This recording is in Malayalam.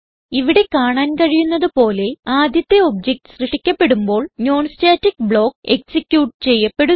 ഇവിടെ കാണാൻ കഴിയുന്നത് പോലെ ആദ്യത്തെ ഒബ്ജക്ട് സൃഷ്ടിക്കപ്പെടുമ്പോൾ non സ്റ്റാറ്റിക് ബ്ലോക്ക് എക്സിക്യൂട്ട് ചെയ്യപ്പെടുന്നു